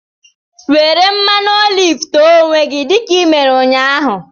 Were mmanụ olive te onwe gị dị ka i mere ụnyahụ!